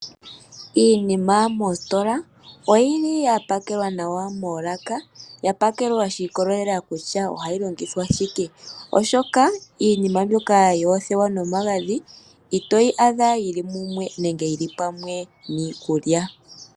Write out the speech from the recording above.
Iinima moositola oyili ya pakelwa nawa moolaka, ya pakelwa shi ikolelela kutya ohayi longithwa shike, oshoka iinima mbyoka yoothewa nomagadhi, itoyi adha yili mumwe, nenge yili pamwe niikulya.